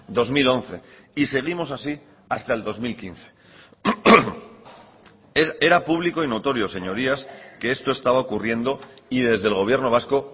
dos mil once y seguimos así hasta el dos mil quince era público y notorio señorías que esto estaba ocurriendo y desde el gobierno vasco